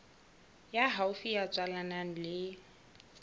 ya haufi ya tswalanang le